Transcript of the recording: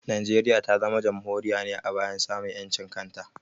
Najeriya ta zama Jamhuriya ne a bayan samun ƴancin kanta